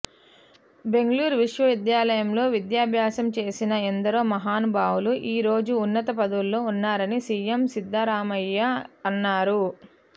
బెంగళూరు విశ్వవిద్యాలయంలో విద్యాభ్యాసం చేసిన ఎందరో మహానుభావులు ఈ రోజు ఉన్నత పదువుల్లో ఉన్నారని సీఎం సిద్దరామయ్య అన్నారు